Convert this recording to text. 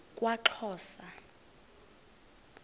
kwaxhosa